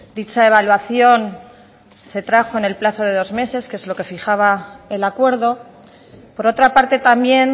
dicha evaluación se trajo en el plazo de dos meses que es lo que fijaba el acuerdo por otra parte también